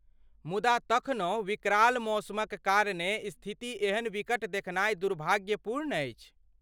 मुदा तखनहु विकराल मौसमक कारणे स्थिति एहन विकट देखनाइ दुर्भाग्यपूर्ण अछि।